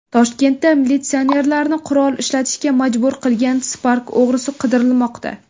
Toshkentda militsionerlarni qurol ishlatishga majbur qilgan Spark o‘g‘risi qidirilmoqda .